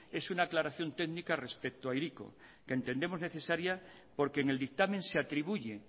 es una aclaración técnica respecto a hiriko que entendemos necesaria porque en el dictamen se atribuye